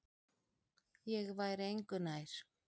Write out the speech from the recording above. Ég væri engu nær.